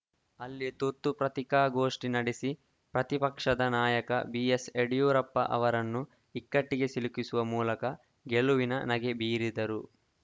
ಅಲ್ಲಿ ತುರ್ತು ಪತ್ರಿಕಾಗೋಷ್ಠಿ ನಡೆಸಿ ಪ್ರತಿಪಕ್ಷದ ನಾಯಕ ಬಿಎಸ್‌ಯಡಿಯೂರಪ್ಪ ಅವರನ್ನು ಇಕ್ಕಟ್ಟಿಗೆ ಸಿಲುಕಿಸುವ ಮೂಲಕ ಗೆಲುವಿನ ನಗೆ ಬೀರಿದರು